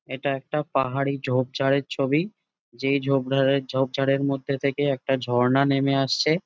এটা একটা পাহাড়ি ঝোপঝাড়ের ছবি যে ঝোপঝাড়ের ঝোপঝাড়ের মধ্যে থেকে একটা ঝর্ণা নাম আসছে ।